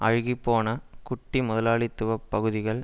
அழுகி போன குட்டி முதலாளித்துவ பகுதிகள்